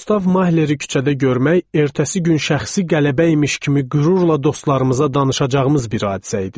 Gustav Mahleri küçədə görmək ertəsi gün şəxsi qələbə imiş kimi qürurla dostlarımıza danışacağımız bir hadisə idi.